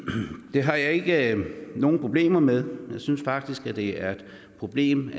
det har jeg ikke nogen problemer med jeg synes faktisk at det er et problem